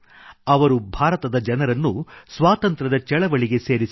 ಅವರು ಭಾರತದ ಜನರನ್ನು ಸ್ವಾತಂತ್ರ್ಯದ ಚಳುವಳಿಗೆ ಸೇರಿಸಿದರು